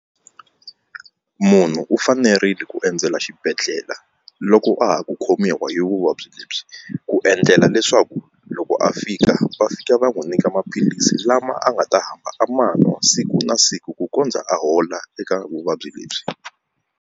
Munhu u fanerile ku endzela xibedhlele loko a ha ku khomiwa hi vuvabyi lebyi ku endlela leswaku loko a fika va fika va n'wi nyika maphilisi lama a nga ta hamba a ma nwa siku na siku ku kondza a hola eka vuvabyi lebyi.